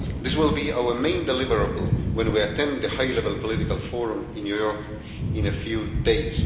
This will be our main deliverable when we attended the high level political forum in New York in a few days.